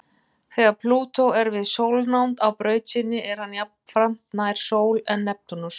Þegar Plútó er við sólnánd á braut sinni er hann jafnframt nær sól en Neptúnus.